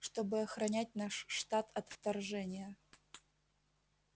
чтобы охранять наш штат от вторжения